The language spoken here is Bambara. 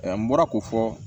n bɔra k'o fɔ